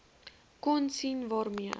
kon sien waarmee